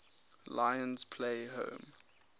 lions play home